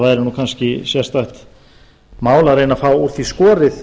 það er sérstakt mál að fá úr því skorið